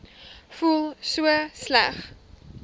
voel so sleg